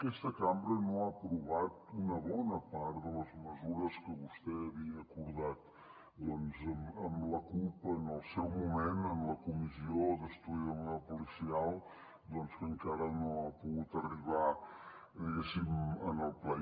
aquesta cambra no ha aprovat una bona part de les mesures que vostè havia acordat amb la cup en el seu moment en la comissió d’estudi sobre el model policial que encara no ha pogut arribar diguéssim al ple